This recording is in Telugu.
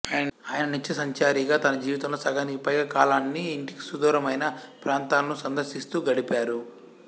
ఆయన నిత్యసంచారిగా తన జీవితంలో సగానికి పైగా కాలాన్ని ఇంటికి సుదూరమైన ప్రాంతాలను సందర్శిస్తూ గడిపారు